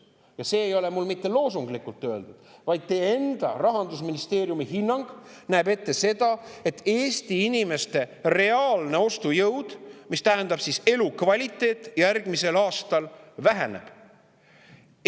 Ja see ei ole mul mitte loosunglikult öeldud, vaid teie enda Rahandusministeeriumi hinnang näeb ette seda, et Eesti inimeste reaalne ostujõud, mis tähendab elukvaliteeti, järgmisel aastal väheneb.